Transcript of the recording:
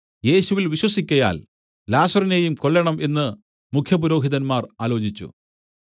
യേശുവിൽ വിശ്വസിക്കയാൽ ലാസറിനേയും കൊല്ലേണം എന്നു മുഖ്യപുരോഹിതന്മാർ ആലോചിച്ചു